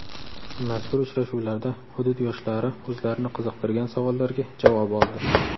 Mazkur uchrashuvlarda hudud yoshlari o‘zlarini qiziqtirgan savollarga javob oldi.